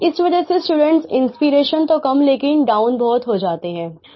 इस वजह से स्टूडेंट इंस्पिरेशन तो कम लेकिन डाउन बहुत हो जाते है